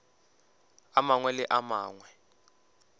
a mangwe le a mangwe